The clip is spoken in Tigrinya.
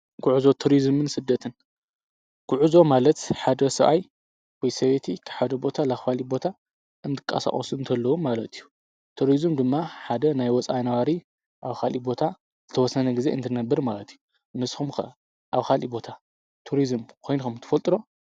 ግዕዞ ቱርዝምን ስደትን፣ ግዕዞ ማለት ሓደ ሰብኣይ ወይ ሰበይቲ ካብ ሓደ ቦታ ናብ ካሊእ ቦታ እንትቀሳቀሱ እንተለዉ ማለት እዩ። ቱርዝም ድማ ሓደ ናይ ወፃኢ ነዋሪ ናብ ካሊእ ቦታ ዝተወሰነ ጊዜ እንትርነብር ማለት እዩ። ንስኹም ከ ኣብ ካሊእ ቦታ ቱርዝም ኾይንኩም ትፈልጥ ዶ?